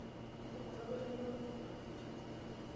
Tudung'o irpapit lelukunya ino.